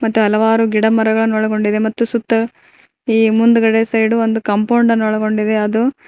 ಮತ್ ಹಲವಾರು ಗಿಡಮರಗಳನ್ನು ಒಳಗೊಂಡಿದೆ ಮತ್ತು ಸುತ್ತ ಈ ಮುಂದುಗಡೆ ಸೈಡ್ ಒಂದು ಕಾಂಪೌಂಡ್ ಅನ್ನು ಒಳಗೊಂಡಿದೆ ಅದು--